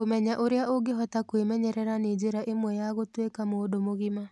Kũmenya ũrĩa ũngĩhota kwĩmenyerera nĩ njĩra ĩmwe ya gũtuĩka mũndũ mũgima.